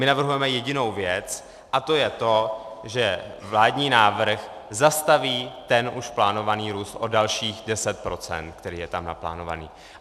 My navrhujeme jedinou věc, a to je to, že vládní návrh zastaví ten už plánovaný růst o dalších 10 %, který je tam naplánovaný.